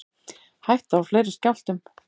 Hætta á fleiri skjálftum